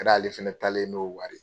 ale fɛnɛ taalen n'o wari ye.